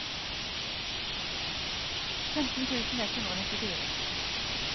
femten tusen ett hundre og nittifire